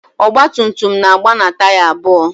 Ọgba tum tum na-aga na taya abụọ